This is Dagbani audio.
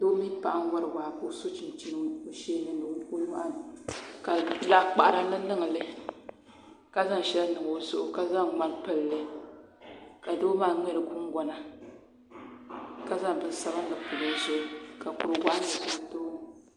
Doo mini paɣa n-wari waa ka o so chinchini o sheeni ni o nyɔɣu ni ka laɣikpaɣira niŋniŋ li ka zaŋ shɛli niŋ o zuɣu ka zaŋ ŋmani m-pili li ka doo maa ŋmɛri gungɔna ka zaŋ bin' sabili pili o zuɣu ka kur' waɣinli za o tooni